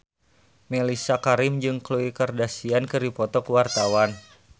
Mellisa Karim jeung Khloe Kardashian keur dipoto ku wartawan